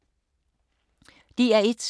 DR1